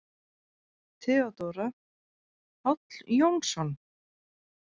THEODÓRA: Páll Jónsson!